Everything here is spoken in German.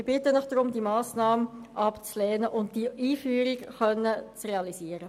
Ich bitte Sie, diese Massnahme abzulehnen und die Einführung der finanziellen Unterstützung zu realisieren.